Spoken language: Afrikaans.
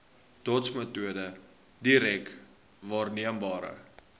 dotsmetode direk waarneembare